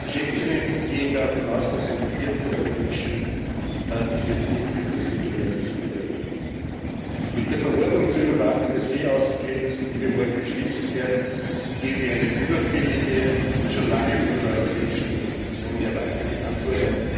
Schätzungen gehen davon aus, dass ein Viertel der Menschen diese Flucht über das Mittelmeer nicht überlebt. Mit der Verordnung zur Überwachung der Seeaußengrenzen, die wir morgen beschließen werden, geben wir eine überfällige und schon lange von den europäischen Institutionen erwartete Antwort.